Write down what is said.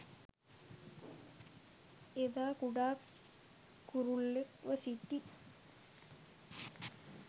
එදා කුඩා කුරුල්ලෙක්ව සිටි